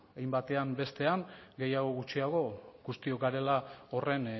hein batean edo bestean gehiago edo gutxiago guztiok garela horren